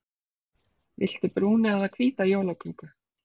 Viltu brúna eða hvíta jólaköku?